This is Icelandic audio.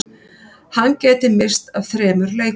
Hann gæti misst af þremur leikjum